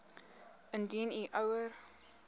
indien u ouer